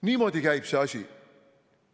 Niimoodi käib see asi.